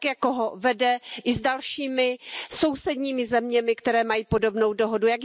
Tak jako ho vede i s dalšími sousedními zeměmi, které mají podobnou dohodu.